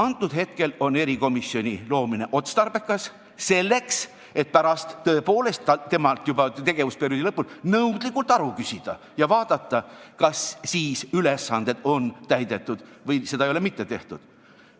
Praegu on erikomisjoni loomine otstarbekas, selleks et pärast tõepoolest temalt juba tegevusperioodi lõpul nõudlikult aru küsida ja vaadata, kas ülesanded on siis täidetud või seda ei ole mitte tehtud.